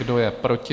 Kdo je proti?